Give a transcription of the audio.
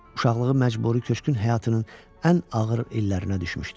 Uşaqlığı məcburi köçkün həyatının ən ağır illərinə düşmüşdü.